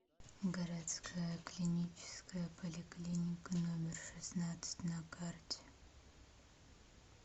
городская клиническая поликлиника номер шестнадцать на карте